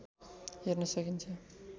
हेर्न सकिन्छ